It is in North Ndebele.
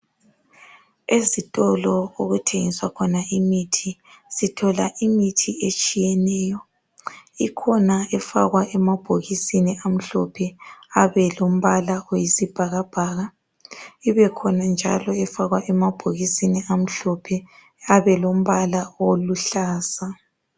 Kukhona abanye abantu abayabe belunywa enyaweni. Uthole umuntu eseze ebomvu. Kuqakathekile ukuthi umuntu lo avakatshele esibhedlela ayebona odokotela ethole ukusizwa masinyane unyawo lungakabi buhlungu kakhulu.